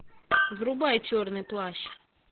врубай черный плащ